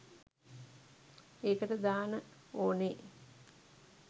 ඒකට දාන ඕනේ